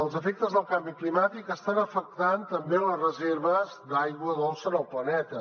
els efectes del canvi climàtic estan afectant també les reserves d’aigua dolça en el planeta